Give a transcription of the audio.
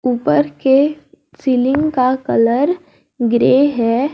ऊपर के सीलिंग का कलर ग्रे है।